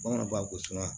Bamananw b'a ko